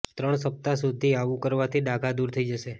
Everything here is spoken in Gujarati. ત્રણ સપ્તાહ સુધી આવું કરવાથી ડાઘા દૂર થઈ જશે